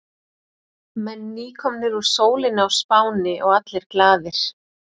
Menn nýkomnir úr sólinni á Spáni og allir glaðir.